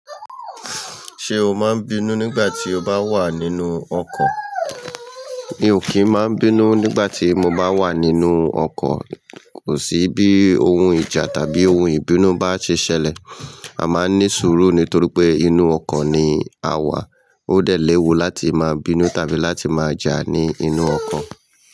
Ṣé o máa ń bínú nígbà tí o bá wà nínú ọkọ̀? Mi ò kí ń má bínú nígbà tí mo bá wà nínú ọkọ̀, kò sí bí ohun ìjà tàbí ohun ìbínú bá ṣe ṣẹlẹ̀. A máa ń ní sùúrù nítorí pé inú ọkọ̀ ni a wà. Ó dẹ̀ léwu láti máa bínú tàbí láti máa jà ní inú ọkọ̀